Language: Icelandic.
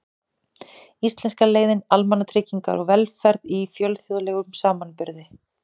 Íslenska leiðin: Almannatryggingar og velferð í fjölþjóðlegum samanburði.